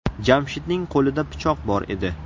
Jamshidning qo‘lida pichoq bor edi.